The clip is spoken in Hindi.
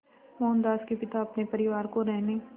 मोहनदास के पिता अपने परिवार को रहने